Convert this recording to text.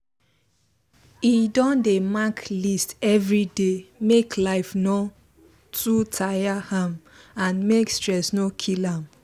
he don dey mark list everyday make life no too tire am and make stress no kill am